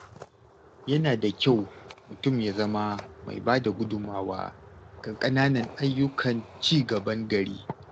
Yana da kyau mutum ya zama mai ba da gudunmawa ga ƙananan ayyukan ci gaban gari.